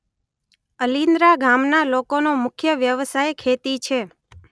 અલિન્દ્રા ગામના લોકોનો મુખ્ય વ્યવસાય ખેતી છે.